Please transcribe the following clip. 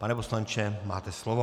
Pane poslanče, máte slovo.